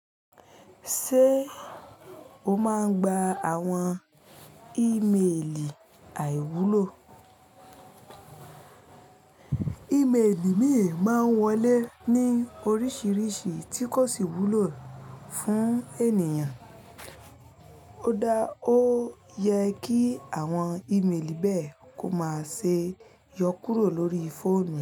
Ṣé o máa ń gba àwọn ímeèlì àìwúlò? Ímeèlì mìíràn máa ń wọlé ní oríṣiríṣi tí kò sì wúlò fún ènìyàn. Ó dá ó yẹ kí àwọn ímeèlì bẹ́ẹ̀ kó má ṣe yọ kúrò lórí fóònù.